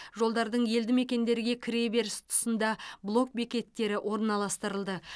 жолдардың елді мекендерге кіре беріс тұсында блок бекеттері орналастырылды